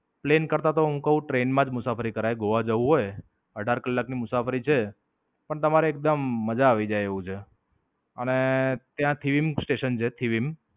Plane કરતા તો હું ક્વ ટ્રેન માં જ મુસાફરી કરાય. ગોવા જવું હોય અઢાર કલાક ની મુસાફરી છે. પણ, તમારે એકદમ મજા આવી જાય એવું છે. અને ત્યાં Theme Citizen છે theme.